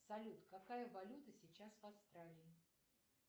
салют какая валюта сейчас в австралии